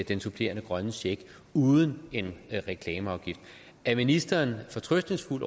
den supplerende grønne check uden en reklameafgift er ministeren fortrøstningsfuld